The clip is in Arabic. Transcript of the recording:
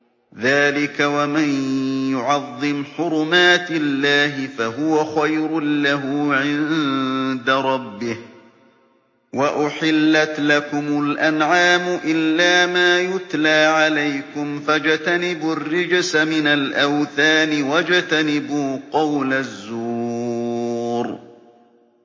ذَٰلِكَ وَمَن يُعَظِّمْ حُرُمَاتِ اللَّهِ فَهُوَ خَيْرٌ لَّهُ عِندَ رَبِّهِ ۗ وَأُحِلَّتْ لَكُمُ الْأَنْعَامُ إِلَّا مَا يُتْلَىٰ عَلَيْكُمْ ۖ فَاجْتَنِبُوا الرِّجْسَ مِنَ الْأَوْثَانِ وَاجْتَنِبُوا قَوْلَ الزُّورِ